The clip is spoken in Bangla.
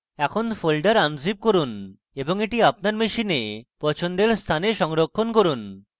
এখন folder unzip করুন এবং এটি আপনার machine পছন্দের স্থানে সংরক্ষণ করুন